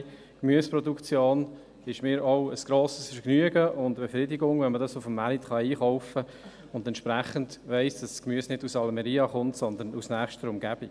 die Gemüseproduktion ist mir auch ein grosses Vergnügen und eine Befriedigung, wenn man dies auf dem Markt einkaufen kann und entsprechend weiss, dass das Gemüse nicht aus Almería kommt, sondern aus nächster Umgebung.